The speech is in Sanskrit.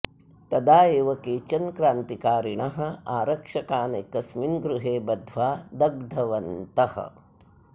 तदा एव केचन क्रान्तिकारिणः आरक्षकान् एकस्मिन् गृहे बद्ध्वा दग्धवन्तः